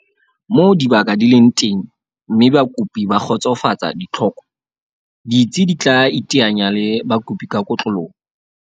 Moo dibaka di leng teng mme bakopi ba kgotsofatsa ditlhoko, ditsi di tla iteanya le bakopi ka kotloloho.